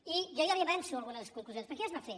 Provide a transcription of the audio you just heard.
i jo ja li avanço algunes conclusions perquè ja es va fer